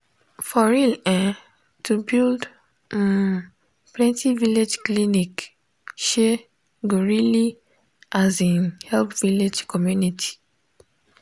for real[um]to build um plenti village clinic um go really um help village community.